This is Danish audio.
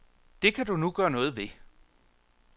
Det kan du nu gøre noget ved.